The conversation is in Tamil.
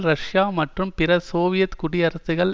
ரஷ்யா மற்றும் பிற சோவியத் குடியரசுகள்